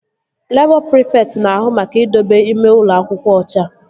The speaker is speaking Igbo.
Labọ prịfekt na-ahụ maka idobe ime ụlọ akwụkwọ ọcha